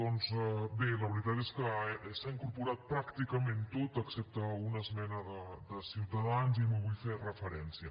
doncs bé la veritat és que s’ha incorporat pràcticament tot excepte una esmena de ciutadans i hi vull fer referència